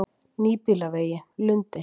Nýbýlavegi Lundi